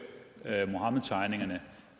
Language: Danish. muhammedtegningerne